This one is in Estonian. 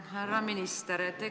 Härra minister!